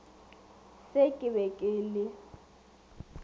se ke be ke le